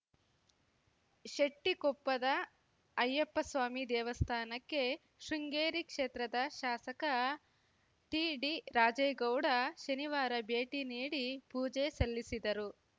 ಶೆಟ್ಟಿಕೊಪ್ಪದ ಅಯ್ಯಪ್ಪಸ್ವಾಮಿ ದೇವಸ್ಥಾನಕ್ಕೆ ಶೃಂಗೇರಿ ಕ್ಷೇತ್ರದ ಶಾಸಕ ಟಿಡಿರಾಜೇಗೌಡ ಶನಿವಾರ ಭೇಟಿ ನೀಡಿ ಪೂಜೆ ಸಲ್ಲಿಸಿದರು